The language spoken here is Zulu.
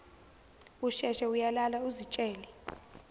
usheshe uyalala uzitshele